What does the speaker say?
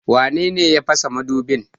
Wane ne ya fasa madubin?